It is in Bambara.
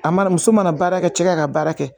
A mana muso mana baara kɛ cɛ ka baara kɛ